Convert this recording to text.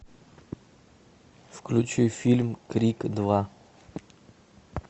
включи фильм крик два